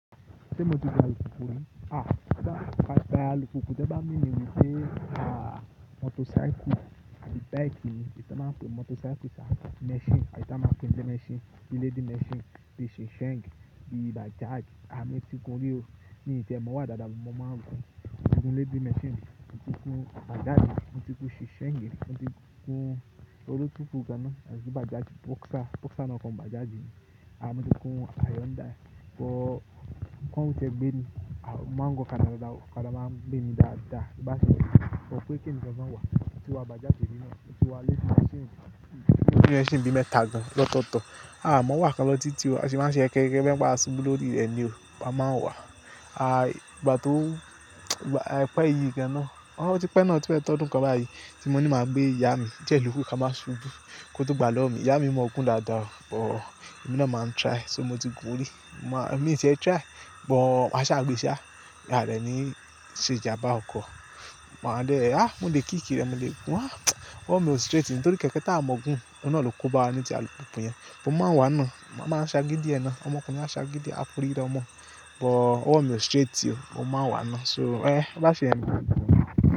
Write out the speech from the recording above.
Ṣé mo ti gba ìfùkù rí? À by alùkùkù tí wọ́n bá mean wípé aa motorcycle àbí bike ni, tán máa ń pè ní motorcycle ṣá àbí machine, àbí ká máa pè ń jẹ́ machine bí lady machine, bí Shensheng, bí Bajaj. À mo ti gùn ún rí o, mi ì tiẹ̀ mọ̀ọ́ wà dáadáa àmọ́ moma ń gùn ún, mo ti gùn lady machine, mo ti gùn Bajaj rí, mo ti gùn Shensheng rí, mo ti gùn èwo ló tún kù gan ná, mo ti ní Bajaj, Boxer, Boxer náà kọ́ ni Bajaj ní. À mo ti gùn Hyundai, but kán ń ti ẹ̀ gbé mi, à moma ń gùn ọ̀kadà dáadáa o, ọ̀kadà máa ń gbé mi dáadáa. Bóbá ṣèyẹn ni but pé kí èmi gan gan-an wà á, moti wa Bajaj rí now, moti wa lady machine, bí i machine bí i mẹ́ta gan lọ́tọ̀ọ̀tọ̀. Aà mọ̀ọ́ wà kan lọ títí o, a sì máa ń ṣe yẹkẹyẹkẹ bẹ́niwípé a subú lórí i rẹ̀ ni o, a máa ń wà. A ìgbà tó, àì pẹ́ ìyí gan ná, ó ti pẹ́ náà o tí fẹ́ẹ̀ tọ́dún kan báyìí, tí mo ní màá gbé ìyá mi, díẹ̀ lókù ká má ṣubú kí wọ́n tó gbàá lọ́wọ́ mi. Ìyá mi mọ̀ ọọ́ gùn dáadáa but èmi náà máa ń try. So mo ti gùn ún rí? Ma-- mi ti ẹ̀ ń try, but màá ṣáà gbé ṣá, aà dẹ̀ ní ṣe ìjàmbá ọkọ̀. Màá dẹ̀, "àh! Mo lè kíìkì i rẹ̀, mo lè gùn ún, á!" Oó mu straight ni nítorí kẹ̀kẹ́ tá à mọ̀ọ́ gùn, òun náà ló kóbá wa ní ti alùpùpù yẹn. Mo máa ń wàá náà, mo máa ń ṣagídí ẹ̀ náà, ọmọ ọkùnrin á ṣagídí, á forí da ọmọ but ọwọ̀ mi ò straight o, mo máa ń wàá náà so ẹn bóbá ṣèyẹn ni màá gbàá náà.